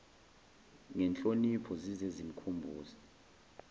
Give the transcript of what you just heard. ngenhlonipho zize zimkhumbuze